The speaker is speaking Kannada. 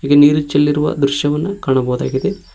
ನೀರು ಚೆಲ್ಲಿರುವ ದ್ರಶ್ಯವನ್ನ ಕಾಣಬೋದಾಗಿದೆ.